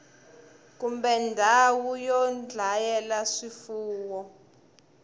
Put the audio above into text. kumbe ndhawu yo dlayela swifuwo